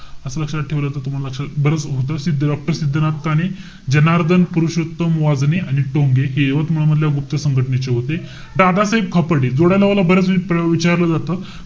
असं लक्षात ठेवलं त तुम्हाला लक्षात बरंच होतं. सिद्ध~ doctor सिद्धनाथ काणे. जनार्दन पुरोशत्तम वाजने आणि टोंगे. यवतमाळ मधल्या गुप्त संघटनेचे होते. दादासाहेब खापर्डे. जोड्या लावाला बऱ्याच वेळा विचारलं जातं.